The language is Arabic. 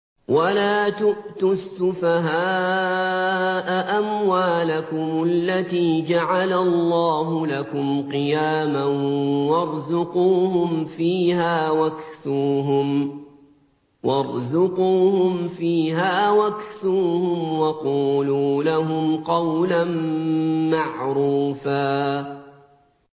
وَلَا تُؤْتُوا السُّفَهَاءَ أَمْوَالَكُمُ الَّتِي جَعَلَ اللَّهُ لَكُمْ قِيَامًا وَارْزُقُوهُمْ فِيهَا وَاكْسُوهُمْ وَقُولُوا لَهُمْ قَوْلًا مَّعْرُوفًا